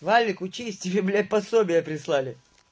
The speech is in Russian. валик учись тебе блять пособия прислали